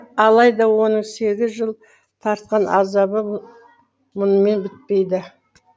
алайда оның сегіз жыл тартқан азабы мұнымен бітпейді